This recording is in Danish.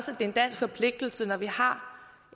en dansk forpligtelse når vi har